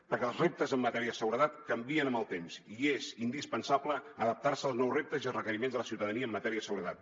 perquè els reptes en matèria de seguretat canvien amb el temps i és indispensable adaptar se als nous reptes i requeriments de la ciutadania en matèria de seguretat